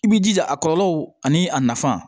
I b'i jija a kɔlɔlɔw ani a nafa